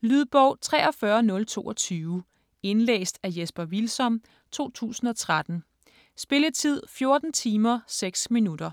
Lydbog 43022 Indlæst af Jesper Hvilsom, 2013. Spilletid: 14 timer, 6 minutter.